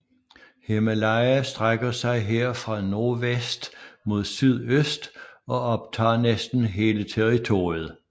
Himalaya strækker sig her fra nordvest mod sydøst og optager næsten hele territoriet